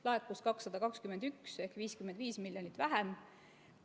Laekus 221 ehk 55 miljonit vähem.